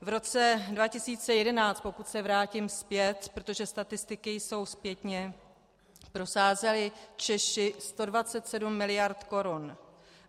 V roce 2011, pokud se vrátím zpět, protože statistiky jsou zpětně, prosázeli Češi 127 miliard korun.